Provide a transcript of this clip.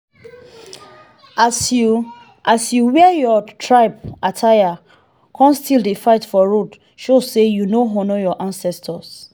as you as you wear your tribe attire con still dey fight for road show say you no honour your ancestors.